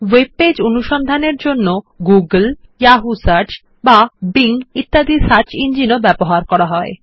web page অনুসন্ধানের জন্য Google Yahoo search কিম্বা বিং ইত্যাদির সার্চ ইঞ্জিন ও এতে ব্যবহৃত হয়